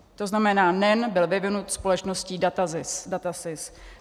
To znamená, NEN byl vyvinut společností DATASYS.